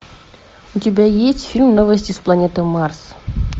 у тебя есть фильм новости с планеты марс